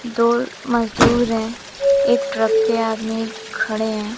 दो मजदूर हैं एक ट्रक पे आदमी खड़े हैं।